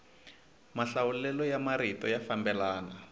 mahlawulelo ya marito ya fambelana